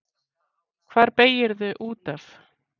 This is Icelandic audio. Hvar beygirðu út af?